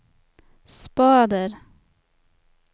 spader